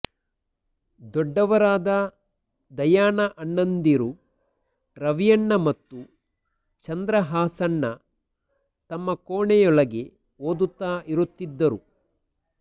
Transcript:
ದೊಡ್ಡವರಾದ ದಯಾನ ಅಣ್ಣಂದಿರು ರವಿಯಣ್ಣ ಮತ್ತು ಚಂದ್ರಹಾಸಣ್ಣ ತಮ್ಮ ಕೋಣೆಯೊಳಗೆ ಓದುತ್ತಾ ಇರುತ್ತಿದ್ದರು